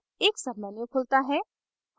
एक submenu खुलता है